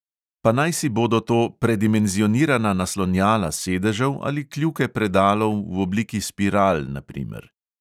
Pa najsi bodo to predimenzionirana naslonjala sedežev ali kljuke predalov v obliki spiral, na primer.